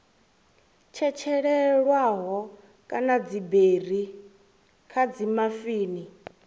tshetshelelwaho kana dziberi kha dzimafini